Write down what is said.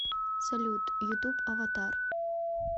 салют ютуб аватар